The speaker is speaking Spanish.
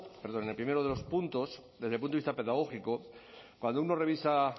en el primero de los puntos desde el punto de vista pedagógico cuando uno revisa